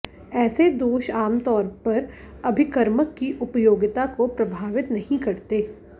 ऐसे दोष आमतौर पर अभिकर्मक की उपयोगिता को प्रभावित नही करते